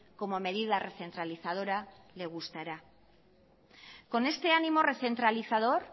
como medida recentralizadora le gustará con este animo rencentralizador